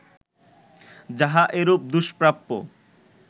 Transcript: যাহা এরূপ দুষ্প্রাপ্য